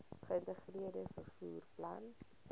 geïntegreerde vervoer plan